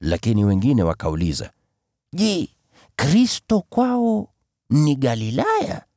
Lakini wengine wakauliza, “Je, Kristo kwao ni Galilaya?